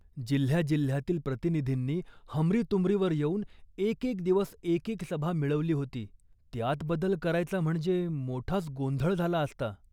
जिल्ह्याजिल्ह्यातील प्रतिनिधींनी हमरीतुमरीवर येऊन एक एक दिवस एक एक सभा मिळवली होती. त्यात बदल करायचा म्हणजे मोठाच गोंधळ झाला असता